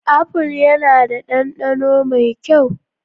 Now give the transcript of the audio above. Apple yana da dandano mai kyau.